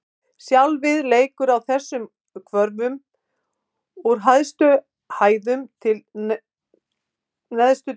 Sjálfið leikur á þessum hvörfum: úr hæstu hæðum til neðstu djúpa.